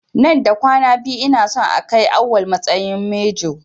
Nan da kwana biyu ina son a kai Awwal matsayin manjo.